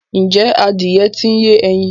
ǹjẹ́ adìyẹ ń ti yé ẹyin?